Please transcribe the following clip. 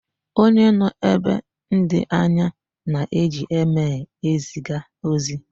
Onye nọ ebe ndị anya na-eji emel eziga ozi.